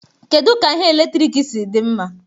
Kedu ka ihe eletrik si dị mma?